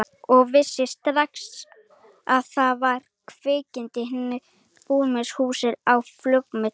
Og vissi strax að það var kviknað í hinum íburðarmiklu húsum á Flugumýri.